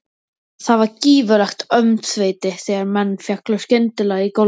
Það varð gífurlegt öngþveiti þegar menn féllu skyndilega í gólfið.